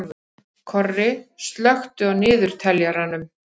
Korri, slökktu á niðurteljaranum.